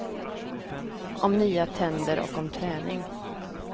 Om nya tänder och om träning.